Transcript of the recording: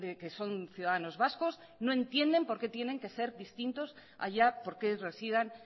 que son ciudadanos vascos no entiendes por qué tienen que ser distintos allá porque residan